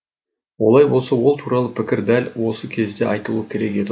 олай болса ол туралы пікір дәл осы кезде айтылуы керек еді ғой